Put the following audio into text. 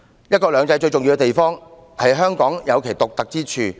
"一國兩制"最重要的地方，是讓香港保有其獨特之處。